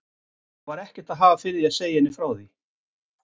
Og var ekkert að hafa fyrir því að segja henni frá því!